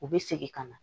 U bɛ segin ka na